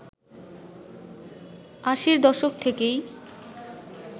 আশির দশক থেকেই